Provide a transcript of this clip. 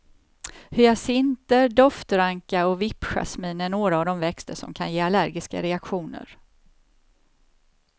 Hyacinter, doftranka och vippjasmin är några av de växter som kan ge allergiska reaktioner.